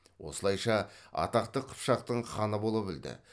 осылайша атақты қыпшақтың ханы бола білді